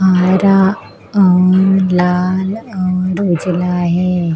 आयरा और लाल और उजला है।